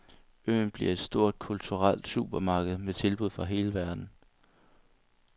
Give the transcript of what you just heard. Øen bliver et stort, kulturelt supermarked med tilbud fra hele verden.